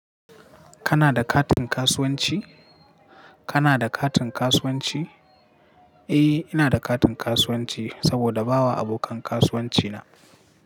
Kana da katin kasuwanci? Kana da katin kasuwanci? Eh, ina da katin kasuwanci saboda bawa abokan kasuwanci na.